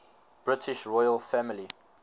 british royal family